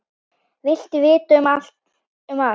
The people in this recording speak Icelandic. Vildi vita allt um alla.